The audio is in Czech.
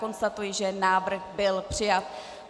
Konstatuji, že návrh byl přijat.